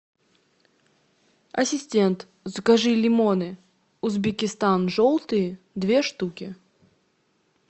ассистент закажи лимоны узбекистан желтые две штуки